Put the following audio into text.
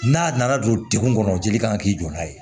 N'a nana don degun kɔnɔ jeli kan k'i jɔ n'a ye